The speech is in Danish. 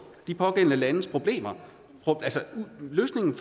de pågældende landes problemer løsningen